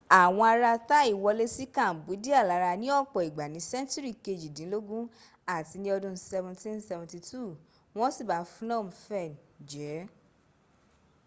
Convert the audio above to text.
àwọn ara thai wolé sí cambodia lára ní ọ̀pọ̀ ìgbà ni sẹńtúrì kejìdínlógún àti ni ọdún 1772 wọ́n siba phnom phen jẹ́